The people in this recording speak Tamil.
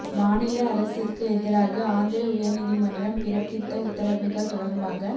மாநில அரசுக்கு எதிராக ஆந்திர உயர் நீதிமன்றம் பிறப்பித்த உத்தரவுகள் தொடர்பாக